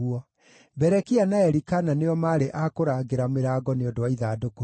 Berekia na Elikana nĩo maarĩ a kũrangĩra mĩrango nĩ ũndũ wa ithandũkũ rĩu.